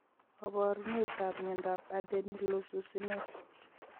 Kaparunet ap miondap adenylosuccinase